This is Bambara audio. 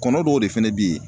Kɔnɔ dɔw de fɛnɛ be ye